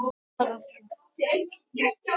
Bakki verður settur á skipið.